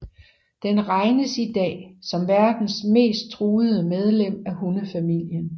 Den regnes i dag som verdens mest truede medlem af hundefamilien